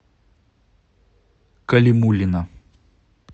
калимуллина